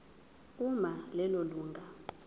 uma lelo lunga